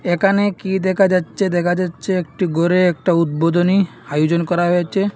একানে কী দেখা যাচ্ছে দেখা যাচ্ছে একটি গোরে একটা উদ্বোধনী হায়োজন করা হয়েছে।